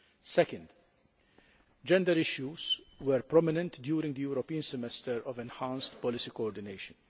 Second, gender issues were prominent during the European semester of enhanced policy coordination.